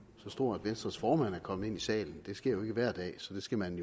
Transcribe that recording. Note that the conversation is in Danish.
så stor at venstres formand er kommet ind i salen det sker jo ikke hver dag så det skal man